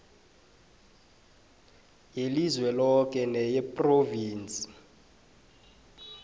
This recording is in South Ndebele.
yelizwe loke neyephrovinsi